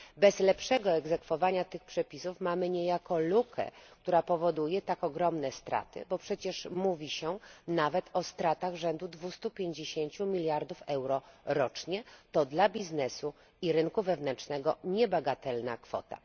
Bez lepszego egzekwowania tych przepisów mamy niejako lukę, która powoduje tak ogromne straty, bo przecież mówi się nawet o stratach rzędu 250 mld euro rocznie to dla biznesu i rynku wewnętrznego niebagatelna kwota.